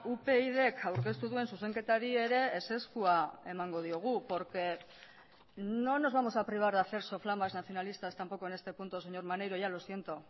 upyd aurkeztu duen zuzenketari ere ezezkoa emango diogu porque no nos vamos a privar de hacer soflamas nacionalistas tampoco en este punto señor maneiro ya lo siento